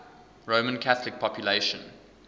roman catholic population